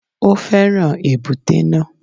Ó fẹ́ràn èbúté náà